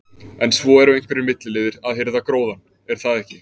En svo eru einhverjir milliliðir að hirða gróðann, er það ekki?